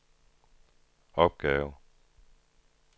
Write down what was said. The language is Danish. opgave